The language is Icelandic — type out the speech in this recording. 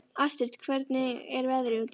Astrid, hvernig er veðrið úti?